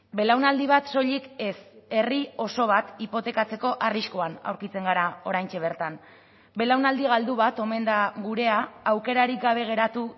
belaunaldi bat soilik ez herri oso bat hipotekatzeko arriskuan aurkitzen gara oraintxe bertan belaunaldi galdu bat omen da gurea aukerarik gabe geratu